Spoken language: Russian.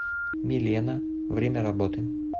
милена время работы